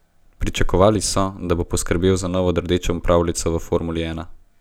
Pričakovali so, da bo poskrbel za novo rdečo pravljico v formuli ena.